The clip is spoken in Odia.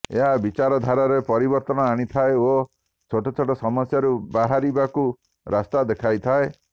ଏହା ବିଚାରଧାରାରେ ପରିବର୍ତ୍ତନ ଆଣିଥାଏ ଓ ଛୋଟ ଛୋଟ ସମସ୍ୟାରୁ ବାହାରିବାକୁ ରାସ୍ତା ଦେଖାଇଥାଏ